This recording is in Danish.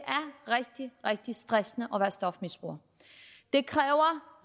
rigtig rigtig stressende at være stofmisbruger det kræver